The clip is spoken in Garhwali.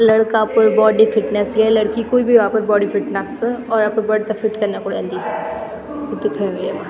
लड़का अपड बॉडी फिटनेस या लड़की कुई भी हो अपर बॉडी फिटनेस और अपड बॉडी ते फिट कना खुन एंदी वू दिखेयु येमा।